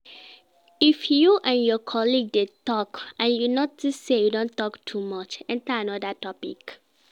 If you and your colleague de talk and you notice say you don talk too much enter another topic